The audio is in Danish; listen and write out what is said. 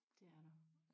Det er der